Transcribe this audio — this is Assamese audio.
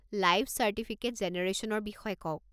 লাইফ চাৰ্টিফিকেট জেনেৰেশ্যনৰ বিষয়ে কওক।